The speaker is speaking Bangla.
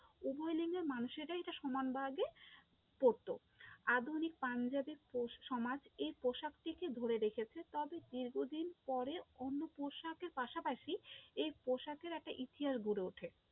উভয় লিঙ্গের মানুষেরাই এটা সমানভাবে পড়তো, আধুনিক পাঞ্জাবের সমাজ এই পোশাকটিকে ধরে রেখেছে, তবে বহুদিন পরে অন্য পোশাকের পাশাপাশি এই পোশাকের একটা ইতিহাস গড়ে ওঠে।